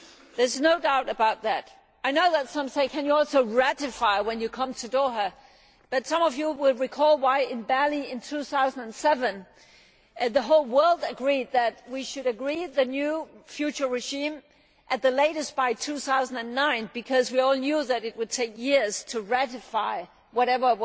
There is not doubt about that. I know that some say that you can also ratify when you come to Doha, but some of you will recall why in Bali in 2007 the whole world agreed that we should agree the new future regime at the latest by 2009 because we all knew that it would take years to ratify whatever